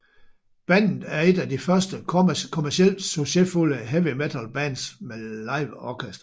Bandet er et af de første kommercielt succesfulde heavy metal bands med live orkester